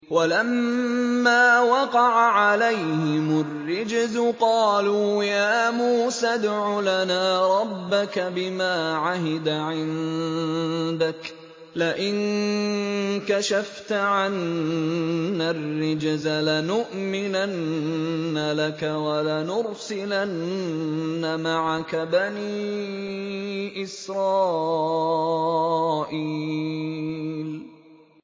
وَلَمَّا وَقَعَ عَلَيْهِمُ الرِّجْزُ قَالُوا يَا مُوسَى ادْعُ لَنَا رَبَّكَ بِمَا عَهِدَ عِندَكَ ۖ لَئِن كَشَفْتَ عَنَّا الرِّجْزَ لَنُؤْمِنَنَّ لَكَ وَلَنُرْسِلَنَّ مَعَكَ بَنِي إِسْرَائِيلَ